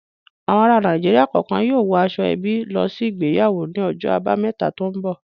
Àwọn ará Nàìjíríà kọ̀ọ̀kan yóò wọ aṣọ-ẹbí lọ sí ìgbéyàwó ní ọjọ́ àbámẹ́ta tó ń bọ̀.